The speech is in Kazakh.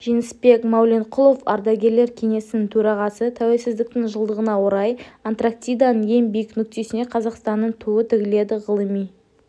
жеңісбек мәуленқұлов ардагерлер кеңесінің төрағасы тәуелсіздіктің жылдығына орай антарктиданың ең биік нүктесіне қазақстанның туы тігіледі ғылыми